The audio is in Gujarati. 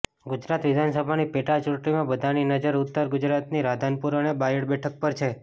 ગુજરાત વિધાનસભાની પેટા ચૂંટણીમાં બધાની નજર ઉત્તર ગુજરાતની રાધનપુર અને બાયડ બેઠક પર છે